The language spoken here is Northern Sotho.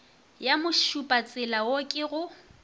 ya mošupatsela wo ke go